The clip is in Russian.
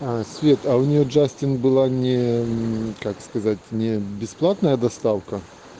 свет у нее джастин было не как сказать не бесплатная доставка